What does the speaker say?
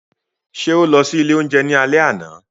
Ṣe o lọ si ile ounjẹ ni alẹ ana?